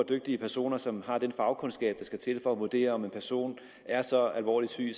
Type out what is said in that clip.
dygtige personer som har den fagkundskab der skal til for at vurdere om en person er så alvorligt syg